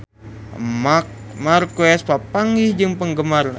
Marc Marquez papanggih jeung penggemarna